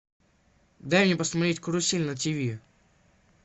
дай мне посмотреть карусель на тв